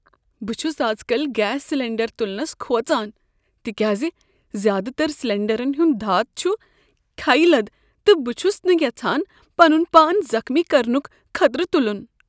بہٕ چھس ازکل گیس سلینڈر تلنس کھوژان تکیازِ زیادٕ تر سلینڈرن ہُند دھات چھ کھیہ لد تہٕ بہٕ چھس نہٕ یژھان پنن پان زخمی کرنک خطرٕ تلن ۔